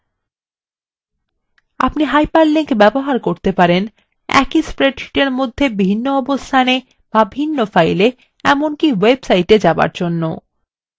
আপনি hyperlinks ব্যবহার করতে পারেন